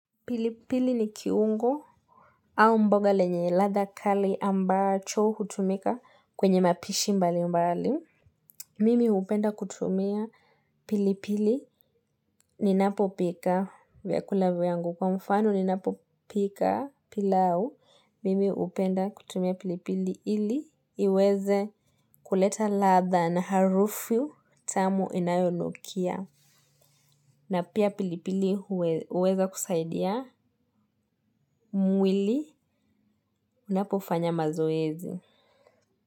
Pilipili ni kiungo au mboga lenye ladha kali ambacho hutumika kwenye mapishi mbali mbali. Mimi hupenda kutumia pilipili ninapopika vyakula vyangu kwa mfano ninapopika pilau. Mimi hupenda kutumia pilipili ili iweze kuleta ladha na harufu tamu inayonukia. Na pia pilipili huweza kusaidia mwili unapofanya mazoezi.